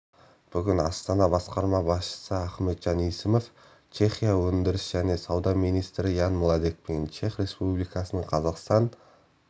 бүгін астана басқарма басшысы ахметжан есімов чехия өндіріс және сауда министрі ян младекпен чех республикасының қазақстан